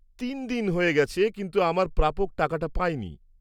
তিন দিন হয়ে গেছে কিন্তু আমার প্রাপক টাকাটা পায়নি।